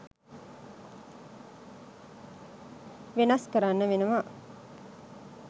වෙනස් කරන්න වෙනවා